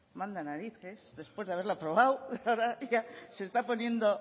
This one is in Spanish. manda narices después de haberla aprobado ahora ya se está poniendo